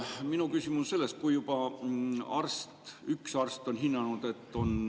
Minu küsimus on selles, et kui üks arst on hinnanud, et on …